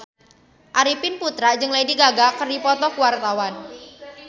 Arifin Putra jeung Lady Gaga keur dipoto ku wartawan